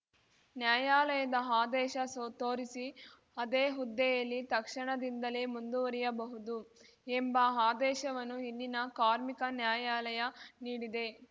ನ್ಯಾಯಾಲಯದ ಆದೇಶ ಸೋ ತೋರಿಸಿ ಅದೇ ಹುದ್ದೆಯಲ್ಲಿ ತಕ್ಷಣದಿಂದಲೇ ಮುಂದುವರಿಯಬಹುದು ಎಂಬ ಆದೇಶವನ್ನು ಇಲ್ಲಿನ ಕಾರ್ಮಿಕ ನ್ಯಾಯಾಲಯ ನೀಡಿದೆ